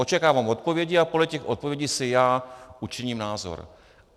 Očekávám odpovědi a podle těch odpovědí si já učiním názor.